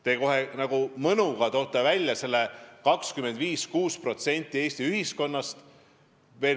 Te kohe nagu mõnuga toote välja selle 25–26% Eesti ühiskonnast.